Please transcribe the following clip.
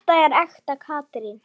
En þetta er ekta Katrín.